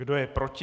Kdo je proti?